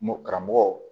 Mo karamɔgɔw